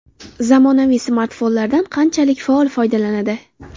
Zamonaviy smartfonlardan qanchalik faol foydalanadi?